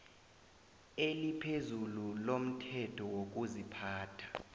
eliphezulu lomthetho wokuziphatha